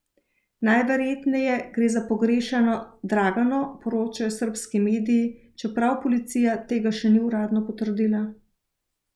Najverjetneje gre za pogrešano Dragano, poročajo srbski mediji, čeprav policija tega še ni uradno potrdila.